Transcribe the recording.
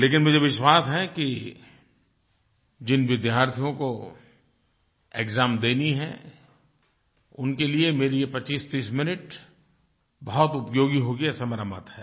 लेकिन मुझे विश्वास है कि जिन विद्यार्थियों को एक्साम देनी है उनके लिए मेरे ये 2530 मिनट बहुत उपयोगी होंगे ऐसा मेरा मत है